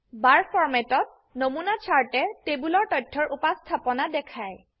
Barফৰমেট ত নমুনা চাৰ্টে টেবোলৰ তথ্যৰ উপস্থাপনা দেখায়